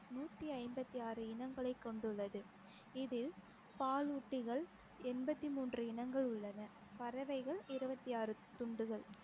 நூத்தி ஐம்பத்தி ஆறு இனங்களை கொண்டுள்ளது இதில் பாலூட்டிகள் எண்பத்தி மூன்று இனங்கள் உள்ளன பறவைகள் இருவத்தி ஆறு துண்டுகள்